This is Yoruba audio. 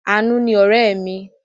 Àánú ni ọ̀rẹ́ mi.